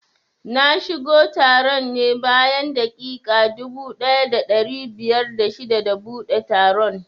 Na shigo taron ne bayan daƙiƙa dubu ɗaya da ɗari biyar da shida da buɗe taron